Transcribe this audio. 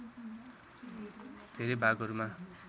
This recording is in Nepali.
धेरै भागहरूमा